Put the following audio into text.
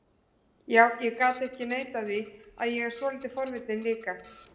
Já, ég get ekki neitað því að ég er svolítið forvitinn líka